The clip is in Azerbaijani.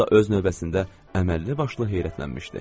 O da öz növbəsində əməlli başlı heyrətlənmişdi.